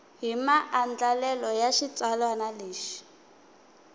hi maandlalelo ya xitsalwana lexi